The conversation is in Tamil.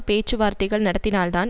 பேச்சு வார்த்தைகள் நடத்தினால்தான்